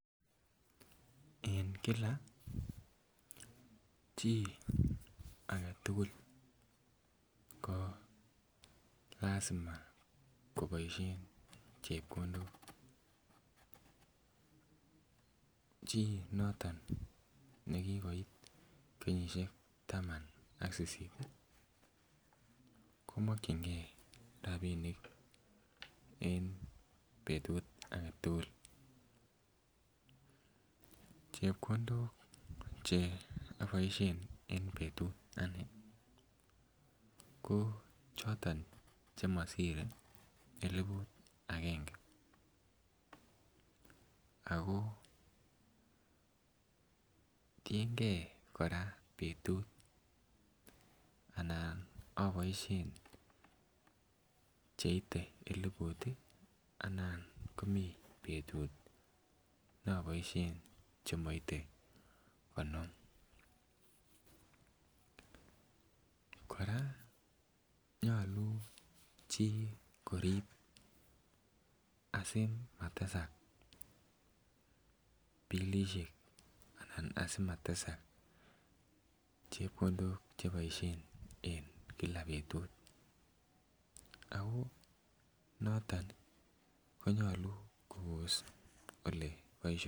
En kila chii agetukul ko lasima koboishen chepkondok , chii noto nekikoik kenyishek tam ak sisit komokingee rabinik en betut agetukul. Chepkondok che oboishen en betut ane ko choton chemosire elibut agenge ako tiyengee Koraa betut anan oboishen cheite elibut tii anan komiii betut ne oboishen chemoite konom. Koraa nyolu chii korib asimatesak bilishek anan asimatesak chepkondok cheboishen en kila betut ako noton konyolu Kobos ole boisho.